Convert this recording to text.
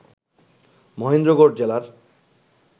মহেন্দ্রগড় জেলার